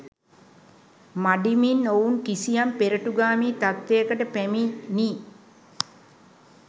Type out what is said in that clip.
මඬිමින් ඔවුන් කිසියම් පෙරටුගාමී තත්ත්වයකට පැමිණී